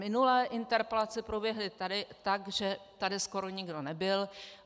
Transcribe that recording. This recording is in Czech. Minule interpelace proběhly tak, že tady skoro nikdo nebyl.